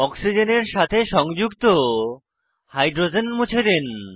অক্সিজেনের সাথে সংযুক্ত হাইড্রোজেন মুছে দিন